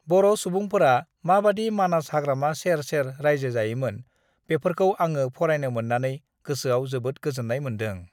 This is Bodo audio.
बर' सुबुंफोरा माबादि मानास हाग्रामा सेर-सेर रायजो जायोमोन, बेफोरखाै आङो फरायनो मोननानै गोसाेआव जोबोद गाोजाेननाय माेनदों।